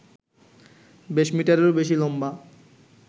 বিশ মিটারেরও বেশি লম্বা